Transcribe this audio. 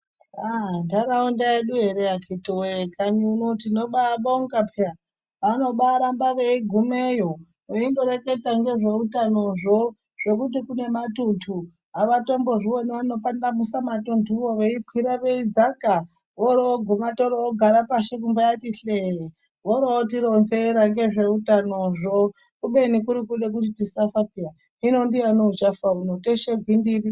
Aah nhtaraunda yedu ere akiti woye kanyi uno tinombabonga peya vanombaramba veigumeyo veindoreketa ngezveutanozvo zvekuti kune matunhtu avatombozvioni vanokwandamusa matunhtuwo veikwira veidzaka voroguma torogara pashi kumbati hlee vorotironzera ngezveutanozvo kubeni kuri kude kuti tisafa peya hino ndiyani uchafa muno teshe gwindiri.